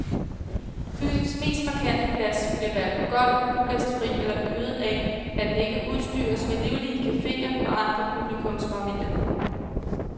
Byens mest markante plads bliver hverken gold, ugæstfri eller øde af, at den ikke udstyres med livlige cafeer og andre publikumsmagneter.